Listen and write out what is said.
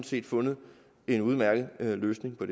set fundet en udmærket løsning på